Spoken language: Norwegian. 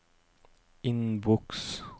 innboks